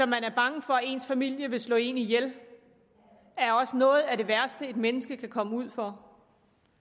man er bange for at ens familie vil slå en ihjel er også noget af det værste et menneske kan komme ud for